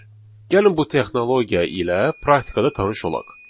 Gəlin bu texnologiya ilə praktikada tanış olaq.